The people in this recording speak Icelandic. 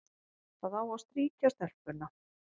Það á að strýkja stelpuna,